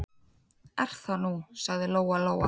Er það nú, sagði Lóa-Lóa.